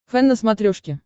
фэн на смотрешке